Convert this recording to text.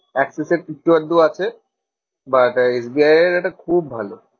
Axis এ আছে but S B I এর এটা খুব ভালো।